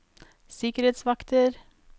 sikkerhetsvakter